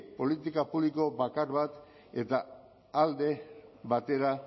politika publiko bakar bat eta alde batera